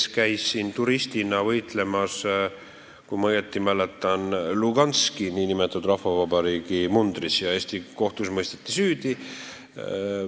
Ta käis siin turistina võitlemas, kui ma õigesti mäletan, nn Luganski rahvavabariigi mundris ja mõisteti Eesti kohtus süüdi.